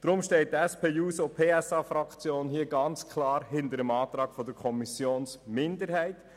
Deshalb steht die SP-JUSO-PSA-Fraktion ganz klar hinter dem Antrag der Kommissionsminderheit.